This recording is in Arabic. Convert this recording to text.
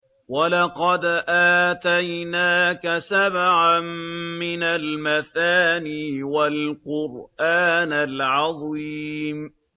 وَلَقَدْ آتَيْنَاكَ سَبْعًا مِّنَ الْمَثَانِي وَالْقُرْآنَ الْعَظِيمَ